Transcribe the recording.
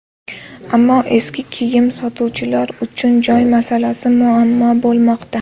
Ammo eski kiyim sotuvchilar uchun joy masalasi muammo bo‘lmoqda.